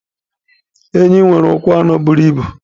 Enyí nwere ụkwụ anọ buru ibu.